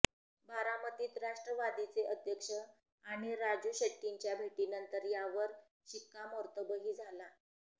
बारामतीत राष्ट्रवादीचे अध्यक्ष आणि राजू शेट्टींच्या भेटीनंतर यावर शिक्कामोर्तबही झाला